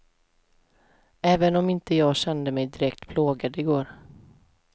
Även om inte jag kände mig direkt plågad i går.